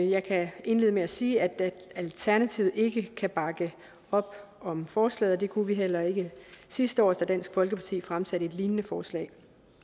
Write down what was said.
jeg kan indlede med at sige at alternativet ikke kan bakke op om forslaget det kunne vi heller ikke sidste år da dansk folkeparti fremsatte et lignende forslag